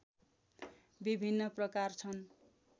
विभिन्न प्रकार छन्